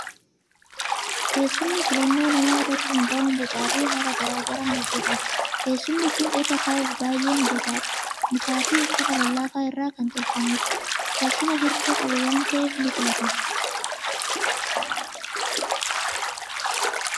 Teessumni filannoo namaa irratti hundaa'uun bocaa fi haala garaa garaan hojjetama. Teessumni kun irra taa'uuf baay'ee mijataadha! Mukaa fi uffata lallaafaa irraa kan tolfamedha. Teessuma hirkoo qabu waan ta'eef, ni filatama!